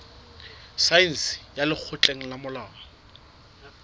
saense ya lekgotleng la molao